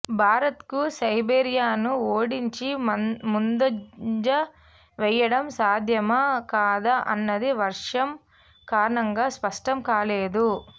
భారత్కు సెర్బియాను ఓడించి ముందంజ వేయడం సాధ్యమా కాదా అన్నది వర్షం కారణంగా స్పష్టం కాలేదు